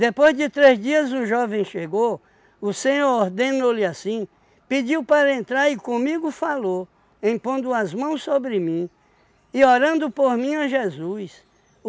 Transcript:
Depois de três dias o jovem chegou, o Senhor ordenou-lhe assim, pediu para entrar e comigo falou, impondo as mãos sobre mim e orando por mim ó Jesus.